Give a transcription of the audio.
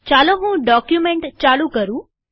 ચાલો હું ડોક્યુમેન્ટ ચાલુ કરું